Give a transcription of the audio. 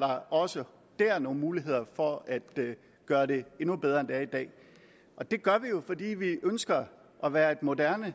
der også der er nogle muligheder for at gøre det endnu bedre end det er i dag det gør vi jo fordi vi ønsker at være et moderne